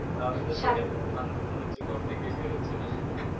তাহলে তো সেখানকার মানুষ, মানুষ তো ঘর থেকেই বেরোচ্ছে না।